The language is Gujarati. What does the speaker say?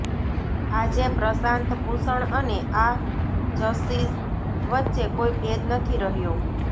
આજે પ્રશાંત ભૂષણ અને આ જજીસ વચ્ચે કોઈ ભેદ નથી રહ્યો